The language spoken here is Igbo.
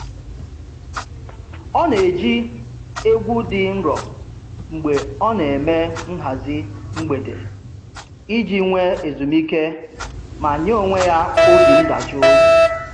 Ọ na-eji egwu dị nro mgbe ọ na-eme nhazị mgbede iji nwe ezumiike ma nye onwe ya obi ndajụ